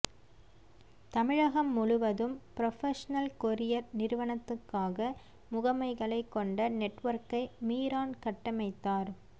தமிழகம் முழுவதும் professional courier நிறுவனத்துக்காக முகமைகளைக் கொண்ட நெட் ஒர்க்கை மீரான் கட்டமைத்தார்